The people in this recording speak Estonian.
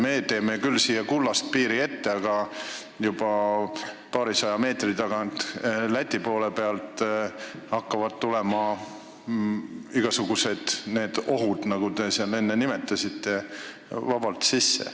Meie teeme küll siia kullast piiri ette, aga juba paarisaja meetri pärast, Läti poole pealt hakkavad tulema igasugused ohud, nagu te enne nimetasite, vabalt sisse.